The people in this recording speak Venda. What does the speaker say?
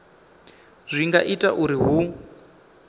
zwi nga ita uri hu